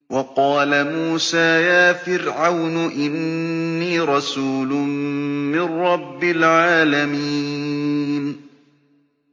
وَقَالَ مُوسَىٰ يَا فِرْعَوْنُ إِنِّي رَسُولٌ مِّن رَّبِّ الْعَالَمِينَ